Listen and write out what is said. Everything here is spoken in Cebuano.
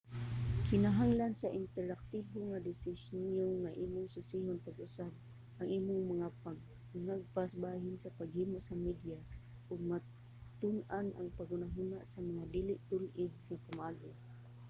kinahanglan sa interaktibo nga disenyo nga imong susihon pag-usab ang imong mga pangagpas bahin sa paghimo sa media ug matun-an ang paghunahuna sa mga dili tul-id nga pamaagi